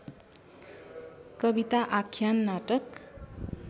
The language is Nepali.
कविता आख्यान नाटक